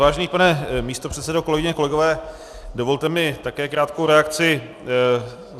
Vážený pane místopředsedo, kolegyně, kolegové, dovolte mi také krátkou reakci.